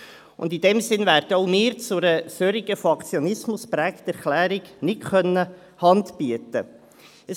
In diesem Sinne werden wir zu einer solchen von Aktionismus geprägten Erklärung nicht Hand bieten können.